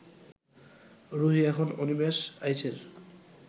রুহী এখন অনিমেষ আইচের